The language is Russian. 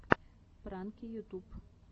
пранки ютуб